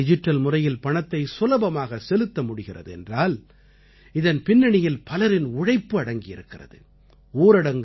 இன்று நம்மால் டிஜிட்டல் முறையில் பணத்தை சுலபமாகச் செலுத்த முடிகிறது என்றால் இதன் பின்னணியில் பலரின் உழைப்பு அடங்கி இருக்கிறது